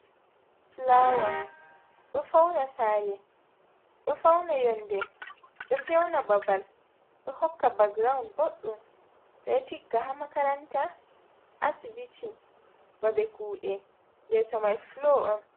Fulawa ɗo fawna saare, ɗo fawna yonnde, ɗo fewna babal, ɗo hokka bakgirawun boɗɗum. Ɓe ɗo tigga haa makaranta, asbiti, babe kuuɗe, yeeso may fulo on.